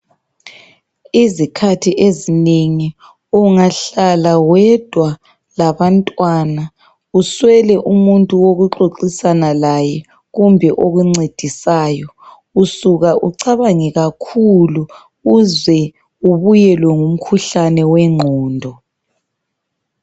Izikhathi ezinengi ungahlala wedwa labantwana uswele umuntu wokuxoxisana laye kumbe okuncedisayo, usuka ucabange kakhulu uze ubuyelwe ngumkhuhlane wengqondo.